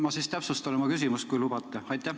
Ma siis täpsustan oma küsimust, kui lubate.